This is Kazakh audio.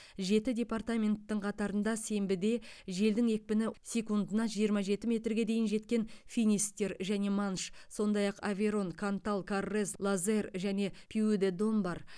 жеті департаменттің қатарында сенбіде желдің екпіні секундына жиырма жеті метрге дейін жеткен финистер және манш сондай ақ аверон кантал коррез лозер және пюи де дом бар